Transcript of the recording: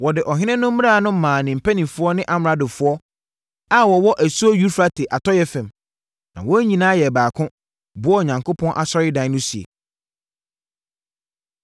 Wɔde ɔhene no mmara no maa ne mpanimfoɔ ne amradofoɔ a wɔwɔ asuo Eufrate atɔeɛ fam, na wɔn nyinaa yɛɛ baako, boaa Onyankopɔn asɔredan no sie.